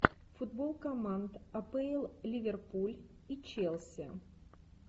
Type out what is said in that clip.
футбол команд апл ливерпуль и челси